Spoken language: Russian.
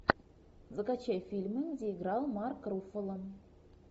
закачай фильмы где играл марк руффало